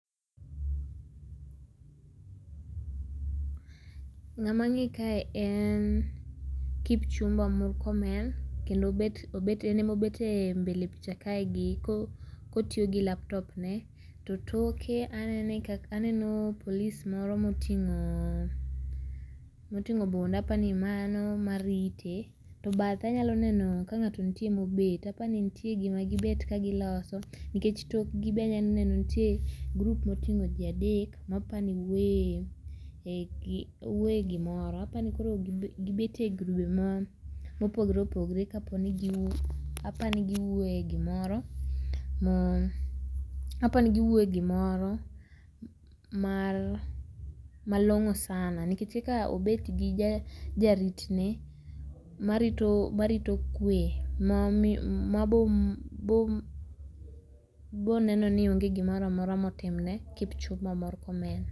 Ng'ama ang'e kae en Kipchumba Murkomen kendo obet en emobet e mbele picha kae gi kotiyo gi laptop ne to toke anene ka aneno polis moro moting'o, moting'o bunde apani mano marite to bathe anyalo neno ka ng'ato ntie mobet apani nitie gima gibet ka giloso nikech tokgi be anyalo neno ni nitie group moting'o jii adek ma apani wuoyo wuoyee gimoro apani koro gibet e grube ma mopogore opogore kaponi apani giwuoye gimoro ma, apani giwuoye gimoro malong'o sana nikech kaka obet gi jarit ne marito kwe mabo neno ni onge gimoro motimne Kipchumba Murkomen.